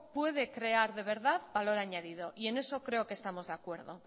puede crear de verdad valor añadido y en eso creo que estamos de acuerdo